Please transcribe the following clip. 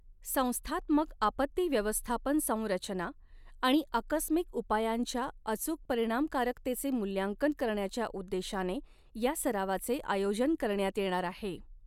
संस्थात्मक आपत्ती व्यवस्थापन संरचना आणि आकस्मिक उपायांच्या अचूक परिणामकारकतेचे मूल्यांकन करण्याच्या उद्देशाने या सरावाचे आय़ोजन करण्यात येणार आहे.